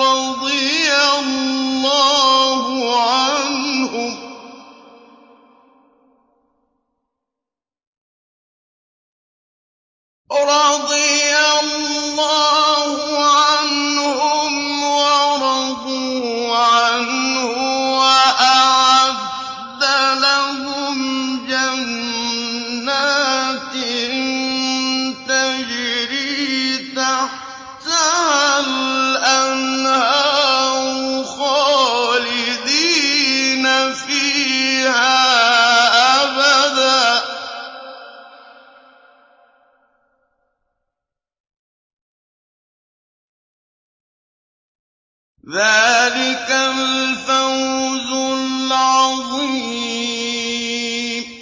رَّضِيَ اللَّهُ عَنْهُمْ وَرَضُوا عَنْهُ وَأَعَدَّ لَهُمْ جَنَّاتٍ تَجْرِي تَحْتَهَا الْأَنْهَارُ خَالِدِينَ فِيهَا أَبَدًا ۚ ذَٰلِكَ الْفَوْزُ الْعَظِيمُ